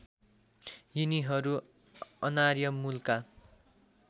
यिनीहरू अनार्य मूलका